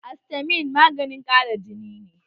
Astamin maganin ƙara jini ne